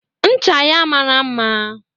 Ncha ya mara mma.